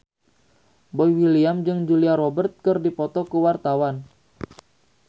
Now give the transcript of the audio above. Boy William jeung Julia Robert keur dipoto ku wartawan